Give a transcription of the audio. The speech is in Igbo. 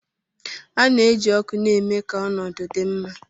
A na-eji ọkụ na-eme ka ọnọdụ dị mma.